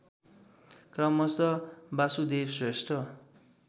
क्रमशः बासुदेव श्रेष्ठ